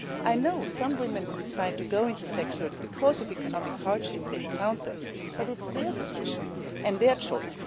I know some women decide to go into sex work because of the economic hardship they encounter, but this is their decision and their choice.